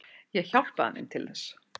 Ég hjálpaði þeim til þess.